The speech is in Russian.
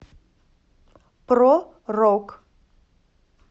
про рок